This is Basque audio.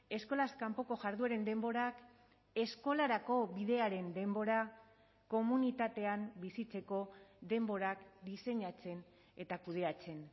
eskolaz kanpoko jardueren denborak eskolarako bidearen denbora komunitatean bizitzeko denborak diseinatzen eta kudeatzen